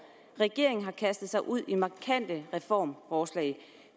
regeringen har kastet sig ud i markante reformforslag